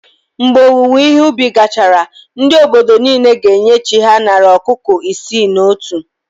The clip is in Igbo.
Mgbe owuwe ihe ubi gachara, ndị obodo niile ga-enye chí ha narị ọkụkọ isii na otu